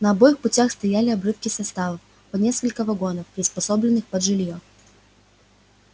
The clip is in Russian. на обоих путях стояли обрывки составов по несколько вагонов приспособленных под жильё